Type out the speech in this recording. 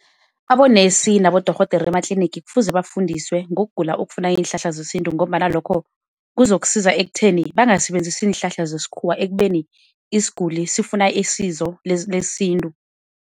Abonesi nabodorhodere ematlinigi kufuze bafundisiwe ngokugula okufuna iinhlahla zesintu, ngombana lokho kuzokusiza ekutheni bangasebenzisi iinhlahla zesikhuwa ekubeni isiguli sifuna isizo lesintu.